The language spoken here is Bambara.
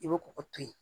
I bɛ kɔkɔ to yen